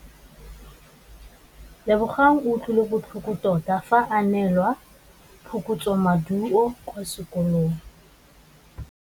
Lebogang o utlwile botlhoko tota fa a neelwa phokotsômaduô kwa sekolong.